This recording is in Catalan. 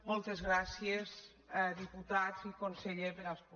moltes gràcies di·putats i conseller per escoltar·me